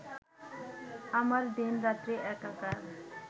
আমার দিনরাত্রি একাকার